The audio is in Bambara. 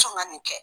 Sɔn ka nin kɛ